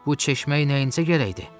Bu çeşməyə nəyinəcə gərəkdi?